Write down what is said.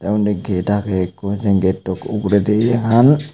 undi get age ekko sen getto uguredi yan.